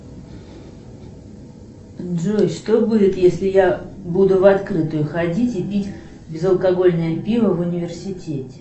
джой что будет если я буду в открытую ходить и пить безалкогольное пиво в университете